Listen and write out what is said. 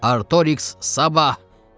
Artoriks sabah.